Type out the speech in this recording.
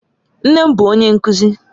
Nne m bu onye nkuzi